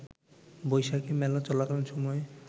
বৈশাখি মেলা চলাকালীন সময়ে